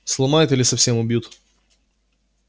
сломают или совсем убьют